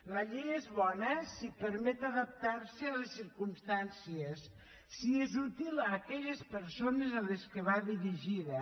la llei és bona si permet adaptar se a les circumstàncies si és útil a aquelles persones a què va dirigida